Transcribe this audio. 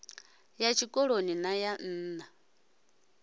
ya tshikoloni na ya nna